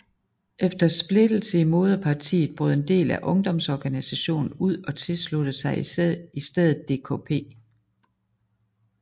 Efter splittelse i moderpartiet brød en del af ungdomsorganisationen ud og tilsluttede sig i stedet DKP